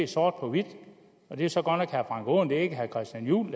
sort på hvidt det er så godt nok herre frank aaen det er ikke herre christian juhl